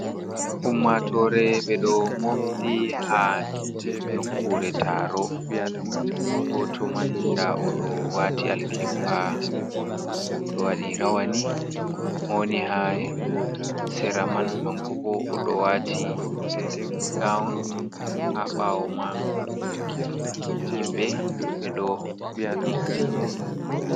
Ummatore be ɗo mofti ha nokkure taro goto man da oɗo wati alkebba oɗo wadi rawani mani ha sera man hankobo oɗo wati gaun ha ɓawo man himbe be ɗo mofti.